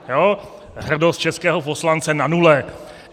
Hrdost českého poslance na nule.